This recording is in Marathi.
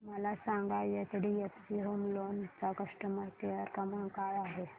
मला सांगा एचडीएफसी होम लोन चा कस्टमर केअर क्रमांक काय आहे